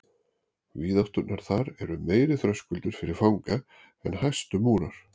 Víðátturnar þar eru meiri þröskuldur fyrir fanga en hæstu múrar.